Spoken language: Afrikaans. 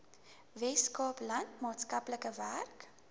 weskaapland maatskaplike werk